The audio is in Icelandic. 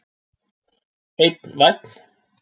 Einn vænn!